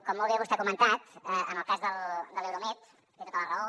com molt bé vostè ha comentat en el cas de l’euromed té tota la raó